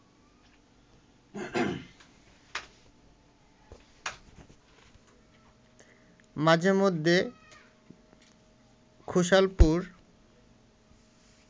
মাঝে মধ্যে খোসালপুর